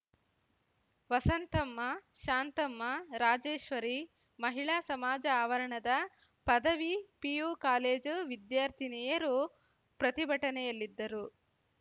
ವಸಂತಮ್ಮ ಶಾಂತಮ್ಮ ರಾಜೇಶ್ವರಿ ಮಹಿಳಾ ಸಮಾಜ ಆವರಣದ ಪದವಿ PU college ವಿದ್ಯಾರ್ಥಿನಿಯರು ಪ್ರತಿಭಟನೆಯಲ್ಲಿದ್ದರು